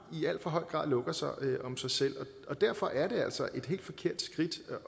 i alt for høj grad lukker sig om sig selv og derfor er det altså et helt forkert skridt